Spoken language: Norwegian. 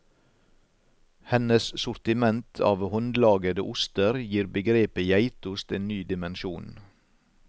Hennes sortiment av håndlagede oster gir begrepet geitost en ny dimensjon.